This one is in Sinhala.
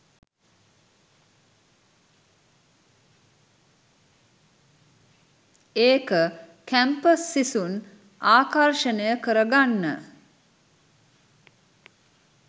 ඒක කැම්පස් සිසුන් ආකර්ෂණය කර ගන්න